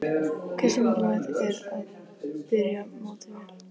Hversu mikilvægt er að byrja mótið vel?